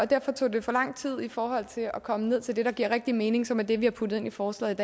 derfor tog det for lang tid i forhold til at komme ned til det der giver rigtig mening og som er det vi har puttet ind i forslaget